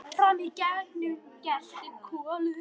Frammi í gangi geltir Kolur.